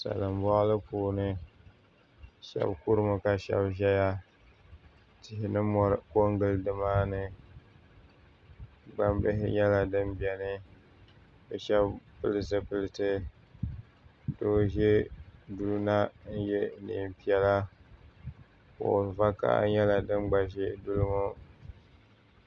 Salin boɣali puuni shab kurimi ka shab ʒɛya tihi ni mori ko n gili nimaani gnambihi nyɛla din biɛni bi shab pili zipiliti doo ʒɛ duli na n yɛ neen piɛla kuɣu vakaɣali nyɛla din gba ʒɛ duli ŋo